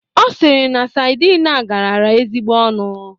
Ọ sịrị na sadin a garara ezigbo ọnụ?